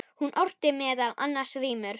Hún orti meðal annars rímur.